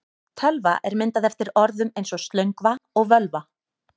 Tölva er myndað eftir orðum eins og slöngva og völva.